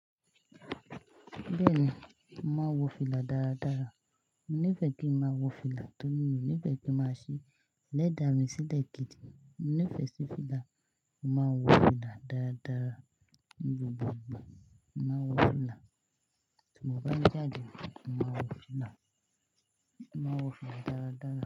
Bẹ́ẹ̀ni, mo màá wo fìlà dáradára. Mo nífẹ̀ẹ́ kí ń máa wo fìlà, tọ́ rí mi o nífẹ̀ẹ́ kí má ṣi elẹ́da mi sílẹ̀ gídi. Mo nífẹ̀ẹ́ sí fìlà, mo màá n wo fìlà dáradára. Ní gbogbo ìgbà, mo màá wo fìlà. Tí mo bá ń jáde, màá wo fìlà. Màá wo fìlà dáradára.